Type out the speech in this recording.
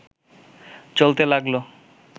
চলতে লাগল